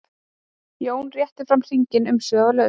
Jón rétti fram hringinn umsvifalaust.